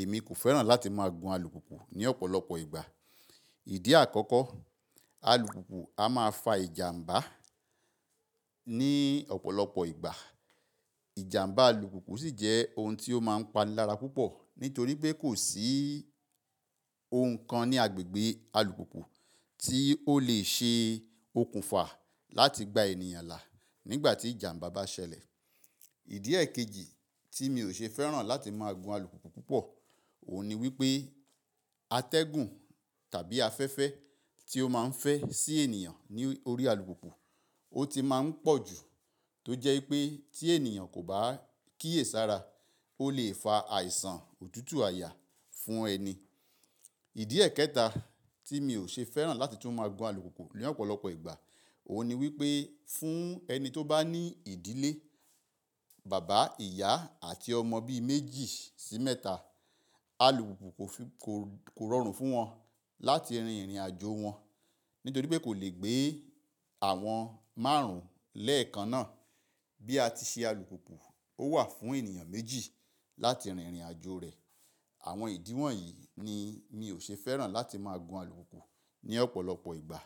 èmi kò fẹ́ràn láti máa gun alùpùpù ní ọ̀pọ̀lọpọ̀ ìgbà. Ìdí àkọ́kọ́, alùpùpù a máa fa ìjàmbá ní ọ̀pọ̀lọpọ̀ ìgbà. Ìjàmbá alùpùpù sì jẹ́ ohun tí ó máa ń pani lára púpọ̀ nítorí pé kò sí ohun kan ní agbègbè alùpùpù tí ó lè ṣe okùnfà láti gbá ènìyàn là nígbà tí ìjàmbá bá ṣẹlẹ̀. Ìdí èkejì tí mi ò ṣe fẹ́ràn láti máa gun alùpùpù púpọ̀, òun ni wípé atẹ́gùn tàbí afẹ́fẹ́ tí ó máa ń fẹ́ sí ènìyàn ní orí alùpùpù, ó ti má ń pọ̀ ju tó jẹ́ wípé tí ènìyàn kò bá kíyèsára, ó lè fa àìsàn òtútù àyà fún ẹni. Ìdí ẹ̀kẹta tí mi ò ṣe fẹ́ràn láti tún máa gun alùpùpù ní ọ̀pọ̀lọpọ̀ ìgbà, òun ni wípé fún ẹni tó bá ní ìdílé, bàbá, ìyá àti ọmọ bí méjì sí mẹ́ta, alùpùpù kò rọrùn fún wọn láti rin ìrìn àjò wọn nítorí pé kò lè gbé àwọn márùn-ún lẹ́ẹ̀kan náà. Bí a ti ṣe alùpùpù ó wà fún ènìyàn méjì láti rin ìrìn àjò rẹ̀. Àwọn ìdí wọ̀nyí ni mi ò ṣe fẹ́ràn láti máa gun alùpùpù ní ọ̀pọ̀lọpọ̀ ìgbà.